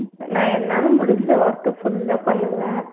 நான் என்னால முடிஞ்ச work அ full ஆ பண்ணுவேன்